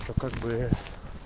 то как бы